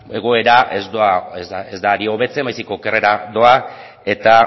egoera ez da ari hobetzen baizik eta okerrera doa eta